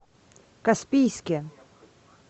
каспийске